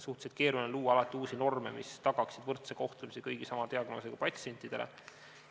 Suhteliselt keeruline on luua alati uusi norme, mis tagaksid võrdse kohtlemise kõigile sama diagnoosiga patsientidele.